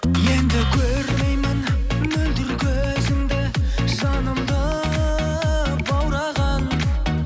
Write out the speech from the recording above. енді көрмеймін мөлдір көзіңді жанымды баураған